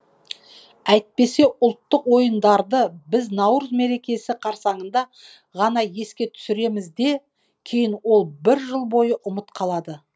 әйтпесе ұлттық ойындарды біз наурыз мерекесі қарсаңында ғана еске түсіреміз де кейін ол бір жыл бойы ұмыт қалады